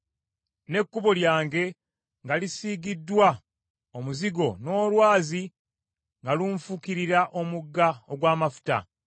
n’ekkubo lyange nga lisiigiddwa omuzigo n’olwazi nga lunfukirira omugga ogw’amafuta.